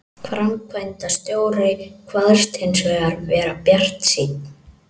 Framkvæmdastjórinn kvaðst hins vegar vera bjartsýnn